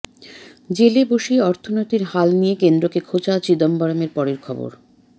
জেলে বসেই অর্থনীতির হাল নিয়ে কেন্দ্রকে খোঁচা চিদম্বরমের পরের খবর